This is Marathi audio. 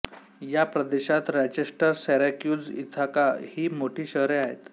या प्रदेशात रॉचेस्टर सिरॅक्यूज इथाका ही मोठी शहरे आहेत